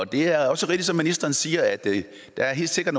det er også rigtigt som ministeren siger at der helt sikkert